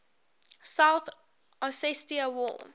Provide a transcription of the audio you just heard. south ossetia war